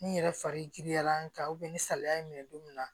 Ni n yɛrɛ fari giriyalan kan ni salaya in minɛ don min na